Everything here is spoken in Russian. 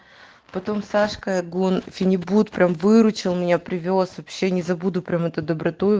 потом сашка гон фенибут прям выручил меня привёз вообще не забуду прямо эту доброту